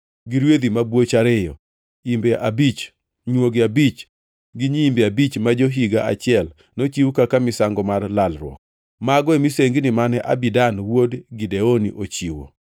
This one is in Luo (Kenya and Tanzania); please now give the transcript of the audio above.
gi rwedhi mabwoch ariyo, imbe abich, nywogi abich gi nyiimbe abich ma jo-higa achiel, nochiw kaka misango mar lalruok. Mago e misengini mane Abidan wuod Gideoni ochiwo.